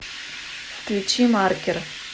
включи маркер